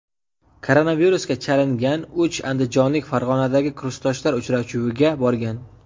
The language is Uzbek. Koronavirusga chalingan uch andijonlik Farg‘onadagi kursdoshlar uchrashuviga borgan.